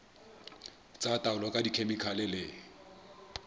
tsa taolo ka dikhemikhale le